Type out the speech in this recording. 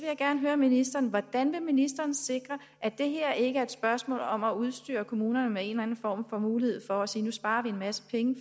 jeg gerne høre ministeren om hvordan ministeren vil sikre at det her ikke er et spørgsmål om at udstyre kommunerne med en eller anden form for mulighed for at sige nu sparer vi en masse penge